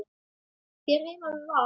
Hér heima með Val.